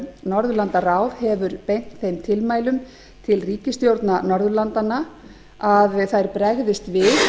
norðurlandaráð hefur beint þeim tilmælum til ríkisstjórna norðurlandanna að þær bregðist við